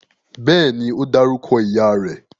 Bẹ́ẹ̀ni, ó dárúkọ ìyá rẹ̀